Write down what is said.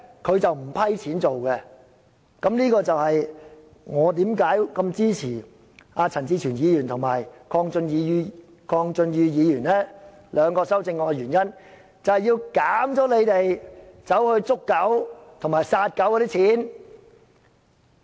這正正解釋了為何我支持陳志全議員及鄺俊宇議員兩項修正案，目的是削減他們捕捉及殺死狗隻的撥款。